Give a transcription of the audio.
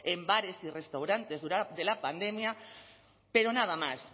en bares y restaurantes de la pandemia pero nada más